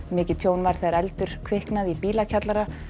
mikið tjón varð þegar eldur kviknaði í bílakjallara